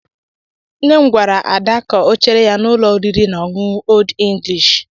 Nne m gwara Ada ka ọ chere ya n'ụlọ oriri na ọṅụṅụ Old English.